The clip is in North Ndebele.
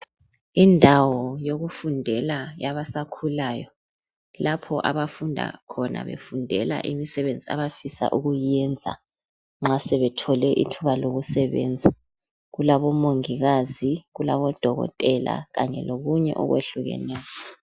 Indawo yokufundela yabasakhulayo lapho abafunda khona befundela imisebenzi abafisa ukuyiyenza nxa sebethole ithuba lokusebenza kulabomongikazi kulabodokotela kanye lokunye okwehlukeneyo